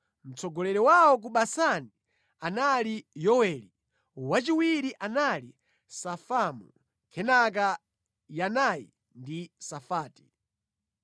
Mtsogoleri wawo ku Basani anali Yoweli, wachiwiri anali Safamu, kenaka Yanayi ndi Safati.